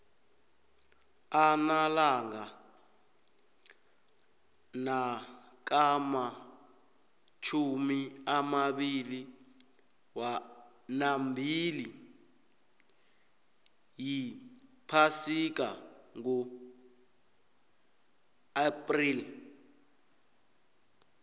arnalanga nakamatjhumi amabili wambili yiphasika ngoxpreli